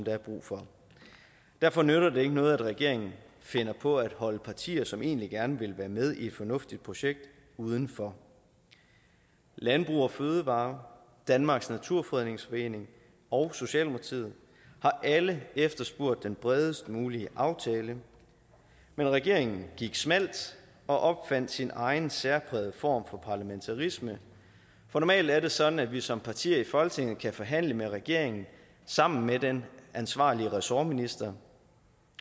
er brug for derfor nytter det ikke noget at regeringen finder på at holde partier som egentlig gerne vil være med i et fornuftigt projekt udenfor landbrug fødevarer danmarks naturfredningsforening og socialdemokratiet har alle efterspurgt den bredest mulige aftale men regeringen gik smalt og opfandt sin egen særprægede form for parlamentarisme for normalt er det sådan at vi som partier i folketinget kan forhandle med regeringen sammen med den ansvarlige ressortminister